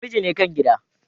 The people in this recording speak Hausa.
namiji ne kan gida.